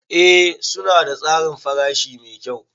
Ee suna da tsarin farashi mai kyau.